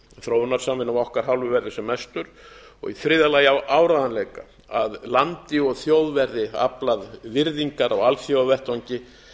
þróunarsamvinnu af okkar hálfu verði sem mestur og í þriðja lagi á áreiðanleika að landi og þjóð verði aflað virðingar á alþjóðavettvangi